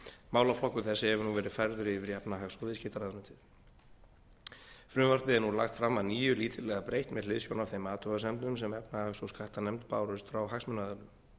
málaflokkur þessi hefur nú verið færður yfir í efnahags og viðskiptaráðuneytið frumvarpið er nú lagt fram að nýju lítillega breytt með hliðsjón af þeim athugasemdum sem efnahags og skattanefnd bárust frá hagsmunaaðilum